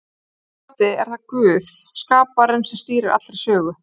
Að hans mati er það Guð, skaparinn, sem stýrir allri sögu.